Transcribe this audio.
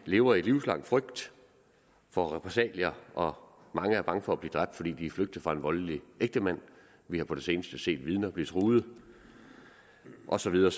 lever i livslang frygt for repressalier og at mange er bange for at blive dræbt fordi de er flygtet fra en voldelig ægtemand vi har på det seneste set vidner blive truet og så videre